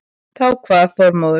Þá kvað Þormóður